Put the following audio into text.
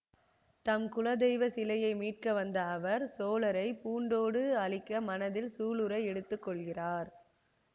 தம் குலதெய்வ சிலையை மீட்க வந்த அவர் சோழரை பூண்டோடு அழிக்க மனத்தில் சூளுரை எடுத்து கொள்கிறார்